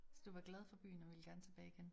Så du var glad for byen og ville gerne tilbage igen?